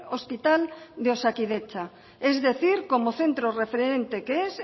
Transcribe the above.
hospital de osakidetza es decir como centro referente que es